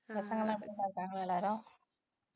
பசங்க எல்லாம் எப்படிகா இருக்காங்க எல்லாரும்